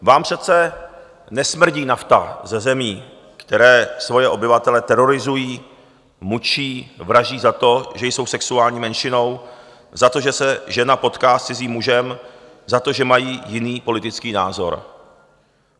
Vám přece nesmrdí nafta ze zemí, které svoje obyvatele terorizují, mučí, vraždí za to, že jsou sexuální menšinou, za to, že se žena potká s cizím mužem, za to, že mají jiný politický názor.